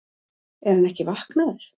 Er hann ekki vaknaður!